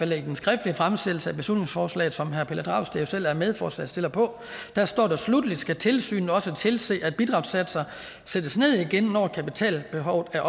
der i den skriftlige fremsættelse af beslutningsforslaget som herre pelle dragsted selv er medforslagsstiller på står sluttelig skal tilsynet også tilse at bidragssatsen sættes ned igen når kapitalbehovet er